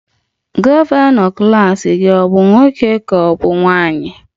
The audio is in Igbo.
Gọvanọ klas gị ọ bụ nwoke ka ọ bụ nwanyị?